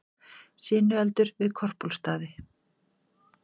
Sinueldur við Korpúlfsstaði